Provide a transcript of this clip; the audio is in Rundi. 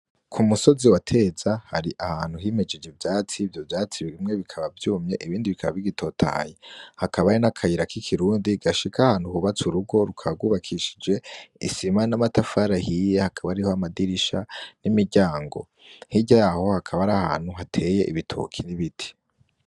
Ku musozi wateza hari ahantu himejije ivyatsi ivyo vyatsi bimwe bikaba vyumye ibindi bikaba bigitotaye, hakaba ari n'akayira k'ikirundi gashika aahantu hubatsa urugo rukagubakishije isima n'amatafara hiye hakaba ari ho amadirisha n'imiryango, hirya yaho hakaba ari ahantu hateye ibitoki ri biti.